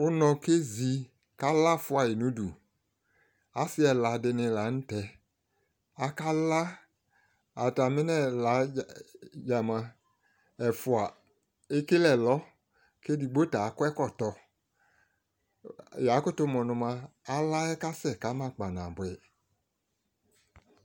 Ʋnɔ kezi k'ala Fusui n'udu Asɩ ɛla dɩnɩ la n'tɛ aka laa, atamɩ n'ɛla yɛ dzaa mʋa, ɛfua ekele ɛlɔ, k'edigbo ta akɔ ɛkɔtɔ Ya kʋtʋ mʋ nʋ mʋa, ala yɛ kasɛ kama kpanabʋɛ